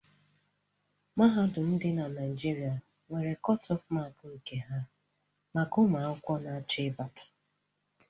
Mahadum ndi dị na Naijiria nwere kotof mááki nke ha maka ụmụ akwụkwọ n'acho ibata